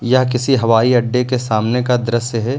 यह किसी हवाई अड्डे के सामने का दृश्य है।